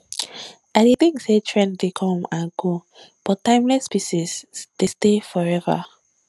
i dey think say trend dey come and go but timeless pieces dey stay forever